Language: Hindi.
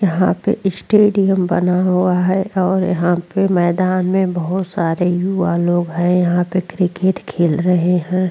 यहां पे स्टेडियम बना हुआ है और यहां पे मैदान में बहुत सारे युवा लोग हैं यहां पे क्रिकेट खेल रहे हैं।